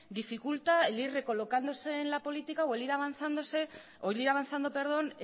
dificulta el ir recolocándose en la política o el ir avanzando